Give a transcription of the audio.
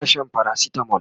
tana Shan paracetamol